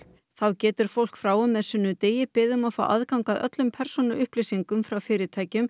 þá getur fólk frá og með sunnudegi beðið um að fá aðgang að öllum persónuupplýsingum frá fyrirtækjum